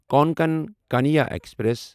Konkan Kanya express